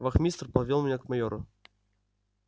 вахмистр повёл меня к майору